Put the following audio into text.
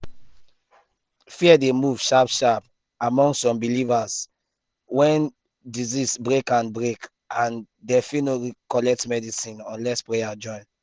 fear dey move sharp sharp among some believers when disease break and break and dem fit no gree collect medicine unless prayer join.